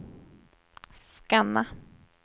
scanna